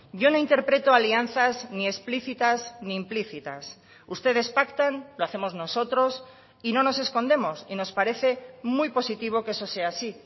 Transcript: yo no interpretó alianzas ni explícitas ni implícitas ustedes pactan lo hacemos nosotros y no nos escondemos y nos parece muy positivo que eso sea así